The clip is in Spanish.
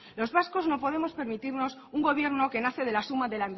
los vascos no podemos permitirnos un gobierno que nace de la suma de